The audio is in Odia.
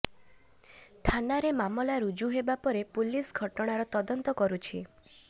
ଥାନାରେ ମାମଲା ରୁଜୁ ହେବା ପରେ ପୁଲିସ ଘଟଣାର ତଦନ୍ତ କରୁଛି